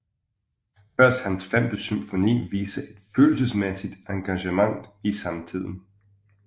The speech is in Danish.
Først hans femte symfoni viser et følelsesmæssigt engagement i samtiden